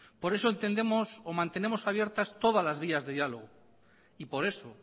por eso entendemos o mantenemos abiertas todas las vías de diálogo y por eso